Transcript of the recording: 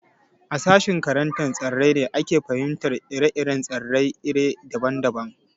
A sashen karantar tsirrai ne ake fahimtar ire-iren tsirrai iri daban daban